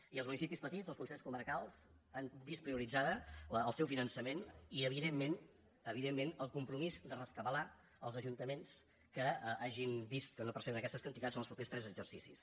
i els municipis petits els consells comarcals han vist prioritzat el seu finançament i evidentment evidentment el compromís de rescabalar els ajuntaments que hagin vist que no perceben aquestes quantitats en els propers tres exercicis